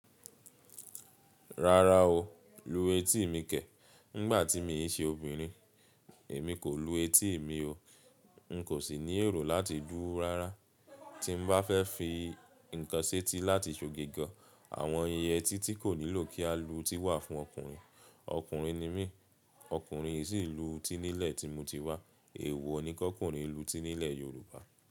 Rárá o, lu etí mi kẹ̀. Nígbà tí mi n ṣe obìnrin, èmi kò lu etí mi o. N kò sì ní èrò láti lu rárá. Tí n bá fẹ́ fi ǹkan setí láti ṣòge gán, àwọn íyẹetí tí kò nílò kí a lu eti wà fún ọkùnrin. Ọkùnrin ni mí, ọkùnrin n sì lu etí nílẹ̀ tí mo ti wá. Èwo ni kọ́ ọkùnrin lu etí nílẹ̀ Yorùbá?